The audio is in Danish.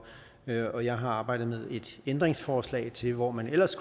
jeg og jeg har arbejdet med et ændringsforslag til hvor man ellers